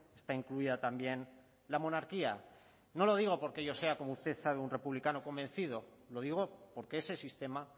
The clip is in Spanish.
está incluida también la monarquía no lo digo porque yo sea como usted sabe un republicano convencido lo digo porque ese sistema